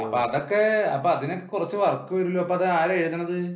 Up അതൊക്കെ അതിനൊക്കെ കുറച്ചു വർക്ക് വരുമല്ലോ അപ്പൊ അത് ആരാണ് എഴുതാണത്?